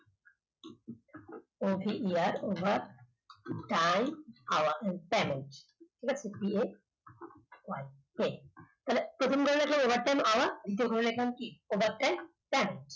over time Panel ঠিক আছে? এ তাহলে প্রথমটায় লিখলাম overtime hours দ্বিতীয় টা লিখলাম কি Panel